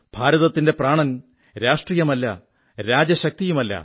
ഭാരതത്തിന്റെ പ്രാണൻ രാഷ്ട്രീയമല്ല രാജശക്തിയുമല്ല